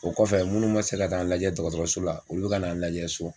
O kɔfɛ minnu ma se ka taa n lajɛ dɔgɔtɔrɔso la olu bɛ ka na lajɛ so.